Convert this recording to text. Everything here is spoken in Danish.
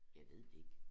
Jeg ved det ikke